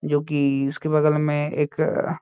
जो कि इसके बगल में एक अ --